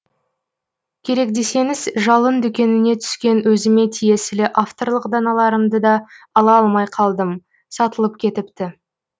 керек десеңіз жалын дүкеніне түскен өзіме тиесілі авторлық даналарымды да ала алмай қалдым сатылып кетіпті